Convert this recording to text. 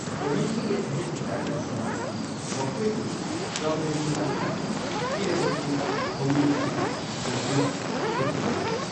ꯊꯧꯃꯤꯁꯤꯡꯒꯤ ꯑꯍꯦꯟꯕ ꯀꯥꯟꯅꯕꯁꯤꯡ ꯑꯁꯤ ꯃꯈꯣꯏꯕꯨ ꯀꯝꯄꯅꯤ ꯑꯗꯨꯅ ꯄꯤꯔꯕꯁꯨ ꯊꯧꯃꯤ ꯑꯗꯨꯅ ꯈꯖꯅꯥ ꯊꯤꯒꯗꯕ ꯑꯣꯏ꯫